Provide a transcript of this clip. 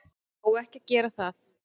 Á ekki að gera það.